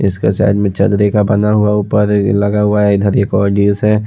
इसके साइड में चलदे का बना हुआ ऊपर लगा हुआ है इधर एक और जीस हैँ।